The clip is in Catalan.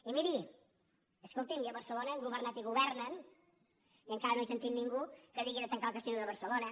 i miri escolti’m i a barcelona han governat i gover·nen i encara no he sentit ningú que digui de tancar el casino de barcelona